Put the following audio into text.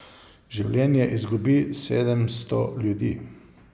Življenje izgubi sedemsto ljudi.